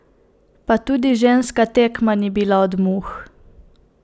Pa tudi ženska tekma ni bila od muh!